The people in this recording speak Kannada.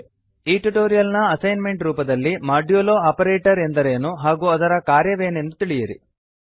ಈ ಟ್ಯುಟೋರಿಯಲ್ ನ ಅಸೈನ್ಮೆಂಟ್ ರೂಪದಲ್ಲಿ ಮಾಡ್ಯುಲೊ ಮೋಡ್ಯುಲೋ ಆಪರೇಟರ್ ಎಂದರೇನು ಹಾಗು ಅದರ ಕಾರ್ಯವೇನೆಂದು ತಿಳಿಯಿರಿ